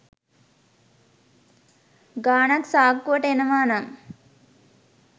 ගානක් සාක්කුවට එනවා නම්